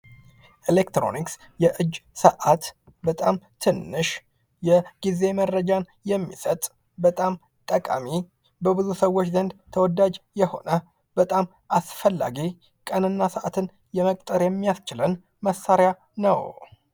ኤሌክትሮኒክስ የእጅ ሰዓት በጣም ትንሽ የጊዜ መረጃን የሚሰጥ በጣም ጠቃሚ በብዙ ሰዎች ዘንድ ተወዳጅ የሆነ በጣም አስፈላጊ ቀን እና ሰዓትን ለመቅጠር የሚያስችለን መሳሪያ ነው::